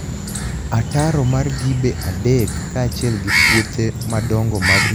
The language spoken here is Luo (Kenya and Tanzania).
Ataro mar Gibe III kaachiel gi puothe madonigo mag mzabibu, osemiyo niam Turkania odok chieni gi okanig achiel gi nius.